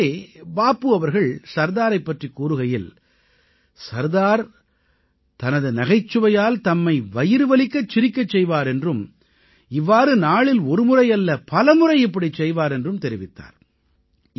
ஒருமுறை பாபு அவர்கள் சர்தாரைப் பற்றிக் கூறுகையில் சர்தார் தனது நகைச்சுவையால் தம்மை வயிறு வலிக்கச் சிரிக்கச் செய்வார் என்றும் இவ்வாறு நாளில் ஒருமுறை அல்ல பலமுறை இப்படிச் செய்வார் என்றும் தெரிவித்தார்